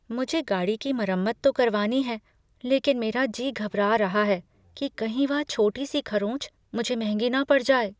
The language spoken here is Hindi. मुझे गाड़ी की मरम्मत तो करवानी है लेकिन मेरा जी घबरा रहा है कि कहीं वह छोटी सी खरोंच मुझे महंगी न पड़ जाए।